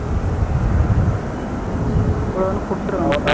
வேணும்னா கொடுத்துடவா